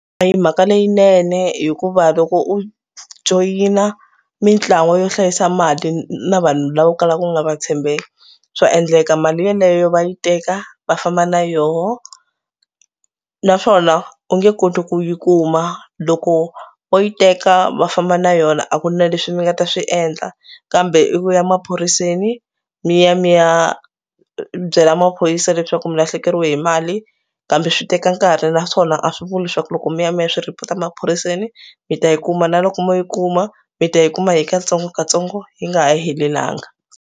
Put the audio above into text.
A hi mhaka leyinene hikuva loko u joyina mitlawa yo hlayisa mali na vanhu lava u kalaka u nga va tshembeki swa endleka mali yeleyo va yi teka va famba na yoho naswona u nge koti ku yi kuma. Loko vo yi teka va famba na yona a ku na leswi mi nga ta swi endla kambe i ku ya maphoriseni mi ya mi ya byela maphorisa leswaku mi lahlekeriwe hi mali kambe swi teka nkarhi naswona a swi vuli leswaku loko mi ya mi ya swi report a maphoriseni mi ta yi kuma na loko mo yi kuma mi ta yi kuma hi katsongokatsongo yi nga ha helelanga.